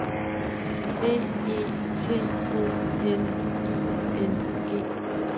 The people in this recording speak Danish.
B E T O N I N G